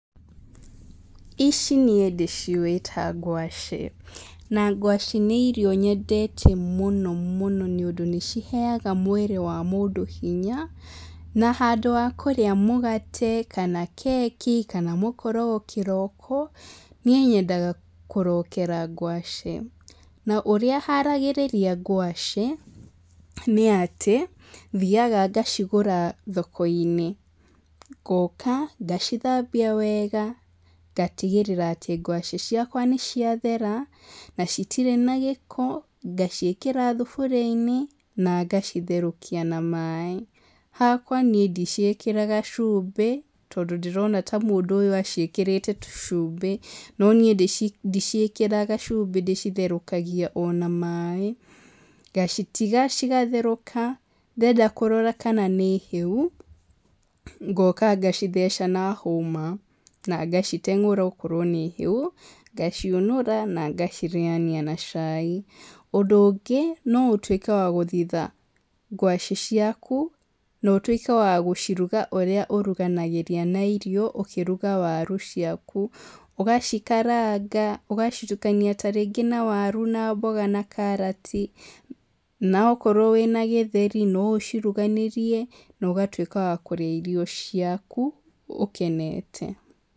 Ici niĩ ndĩciũĩ ta ngwacĩ, na ngwacĩ nĩ irio nyendete mũno mũno nĩũndũ nĩcihega mwĩrĩ wa mũndũ hinya, na handũ wa kũrĩa mũgate kana keki, kana mũkorogo kĩroko, niĩ nyendaga kũrokera ngwacĩ, na ũrĩa haragĩrĩria ngwacĩ, nĩatĩ, thiaga ngacigũra thokoinĩ, ngoka ngacithambia wega, ngatigĩrĩra atĩ ngwacĩ ciakwa nĩciathera, na citirĩ na gĩko, ngaciĩkĩra thuburiainĩ, na ngacitherũkia na maĩ. Hakwa niĩ ndiciĩkĩraga cumbĩ, tondũ ndĩrona ta mũndũ ũyũ aciĩkĩrĩte cumbĩ, no niĩ ndicikĩraga cumbĩ, ndĩcitherũkagia o na maĩ, ngacitiga cigatherũka, ndenda kũrora kana nĩ hĩu, ngoka ngacitheca na hũma, na ngaciteng'ũra okorwo nĩ hĩu, ngaciũnũra na ngacirĩania na cai. Ũndũ ũngĩ no ũtuĩke wa gũthitha ngwacĩ ciaku, na ũtuĩke wa gũciruga ũrĩa ũruganagĩria na irio ũkĩruga waru ciaku, ũgacĩkaranga, ũgacitukania tarĩngĩ na waru na mboga na karati, na okorwo wĩna gĩtheri no ũciruganĩrie, na ũgatuĩka wa kũrĩa irio ciaku, ũkenete.